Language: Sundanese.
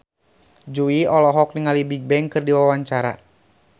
Jui olohok ningali Bigbang keur diwawancara